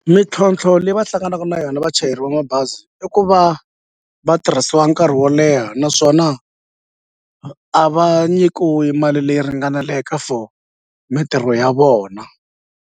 Mintlhontlho leyi va hlanganaka na yona vachayeri va mabazi i ku va va tirhisiwa nkarhi wo leha naswona a va nyikiwi mali leyi ringaneleke for mintirho ya vona.